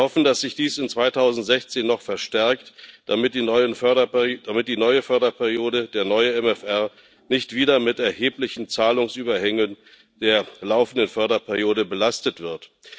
Wir hoffen, dass sich dies 2019 noch verstärkt, damit die neue Förderperiode, der neue MFR, nicht wieder mit erheblichen Zahlungsüberhängen der laufenden Förderperiode belastet wird.